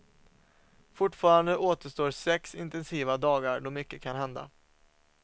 Fortfarande återstår sex intensiva dagar då mycket kan hända.